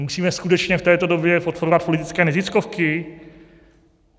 Musíme skutečně v této době podporovat politické neziskovky?